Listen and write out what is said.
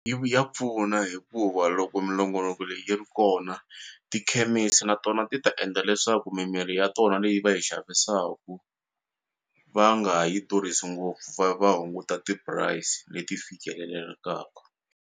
ya pfuna hikuva loko minongonoko leyi yi ri kona tikhemisi na tona ti ta endla leswaku mimirhi ya tona leyi va yi xavisaku va nga yi durhisi ngopfu va va hunguta ti-price leti fikelelekaka.